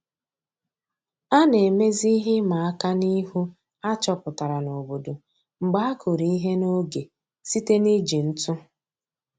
A na-emezi ihe ịma aka n'ihu a chọpụtara n'obodo mgbe a kụrụ ihe n'oge site n'iji ntụ